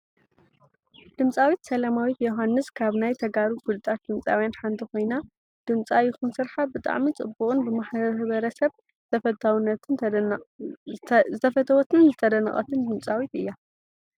ድምፃዊት ሰለማዊት ዮውሃንስ ካብ ናይ ተጋሩ ፉሉጣት ድምፃዊያን ሓንቲ ኮይና ድምፃ ይኩን ስርሓ ብጣዕሚ ፅቡቁን ብሕብረተሰብ ዝተፈተወትን ዝተደነቀትን ድምፃዊት እያ።